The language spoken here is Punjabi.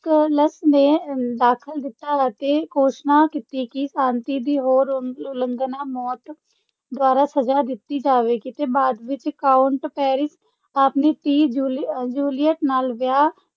ਕਲਸ ਨੇ ਦਾਖਲ ਦਿੱਤਾ ਅਤੇ ਘੋਸ਼ਣਾ ਕੀਤੀ ਕਿ ਸ਼ਾਂਤੀ ਦੀ ਹੋਰ ਉਲੰਘਣਾ ਮੌਤ ਦੁਆਰਾ ਸਜ਼ਾ ਦਿੱਤੀ ਜਾਵੇਗੀ ਤੇ ਬਾਅਦ ਵਿੱਚ, ਕਾਉਂਟ ਪੈਰਿਸ ਆਪਣੀ ਧੀ ਜੂਲੀ ਜੂਲੀਅਟ ਨਾਲ ਵਿਆਹ